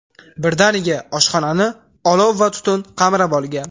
Birdaniga oshxonani olov va tutun qamrab olgan.